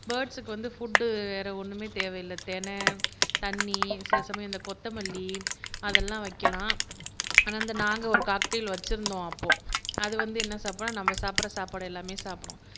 பேர்ட்ஸுக்கு வந்து ஃபுட் வேற ஒண்ணுமே தேவை இல்லை திணை தண்ணி சிலசமயம் இந்த கொத்தமல்லி அதெல்லாம் வைக்கலாம் ஆனா நாங்க ஒரு காக்டெய்ல் வச்சிருந்தோம் அப்போ அது வந்து என்ன சாப்பிடும்னா நம்ம சாப்பிடுற சாப்பாடு எல்லாமே சாப்பிடும்